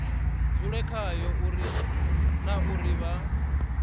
dzule khayo na uri vha